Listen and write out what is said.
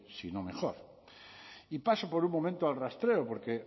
sino mejor y paso por un momento al rastreo porque